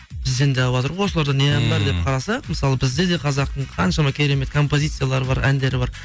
бізден де алыватыр ғой осыларда не ән бар деп қараса мысалы бізде де қазақтың қаншама керемет композициялары бар әндері бар